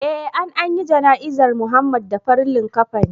Eh an anyi jana izar Muhammad da farin likafani